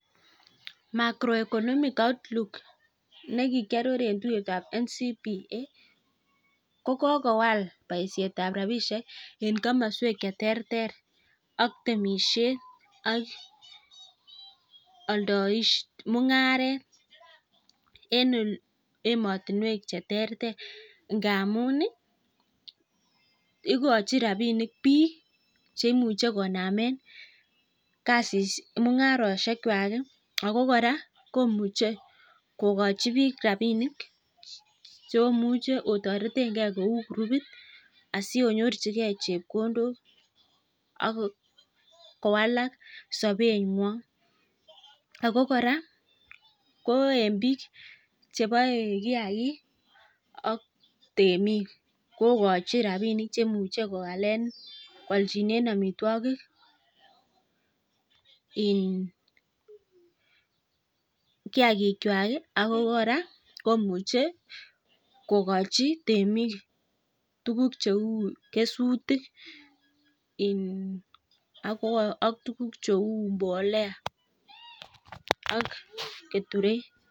Macroeconomic outlook ne kikyoror en tuiyet ab NCBA kokogowal boisiet ab rabishek en komoswek che terter ak temisiet ak mung'aret en emotinwek che terter ngamun, igochin rabinik biikche imuche konamen mung'arosiek kwak ago kora komuche kogochi biik rabinik che omuche otoretenge kou kurupit asi onyorchige chepkondok ak kowalak sobeng'wong ago kora ko en biik cheboe kiyagik ak temik kogochin rabinik che muche koaljinen amitwogik, kiyagik kwak ago kora komuche kogochi temik tuugk cheu kesutik ak tuguk cheu mbolea ak keturek.